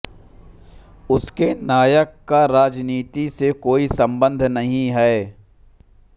उसके नायक का राजनीति से कोई संबंध नहीं है